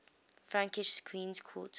frankish queens consort